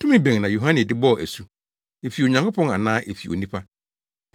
Tumi bɛn na Yohane de bɔɔ asu; efi Onyankopɔn anaa efi onipa?”